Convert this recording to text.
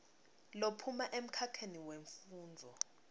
lophuma emkhakheni wemfundvo